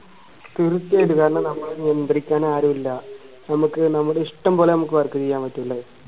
നിയന്ത്രിക്കാൻ ആരുമല്ല നമുക്ക് നമ്മുടെ ഇഷ്ടം പോലെ നമുക്ക് work ചെയ്യാൻ പറ്റൂലേ